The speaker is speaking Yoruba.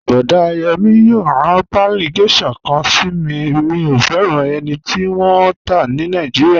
Boda Yemi yòò ran paálí geisha kan sí mí, mí o fẹran ènì tí wọn n tá ní Naijíríà.